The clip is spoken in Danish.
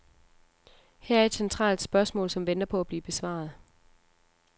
Her er et centralt spørgsmål, som venter på at blive besvaret.